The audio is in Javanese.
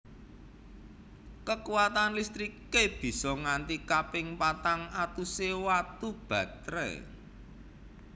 Kekuwatan listriké bisa nganti kaping patang atusé watu batré